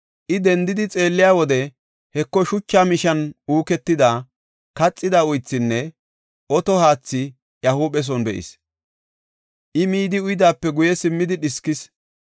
I dendidi xeelliya wode, Heko, shucha mishan uuketidi, kaxida uythinne oto haathi iya huupheson be7is. I midi uyidaape guye simmidi dhiskis.